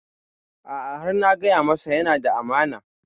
A'a har na gaya masa yana da amana